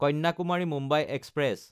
কন্যাকুমাৰী–মুম্বাই express